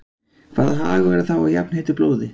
Hvaða hagur er þá af jafnheitu blóði?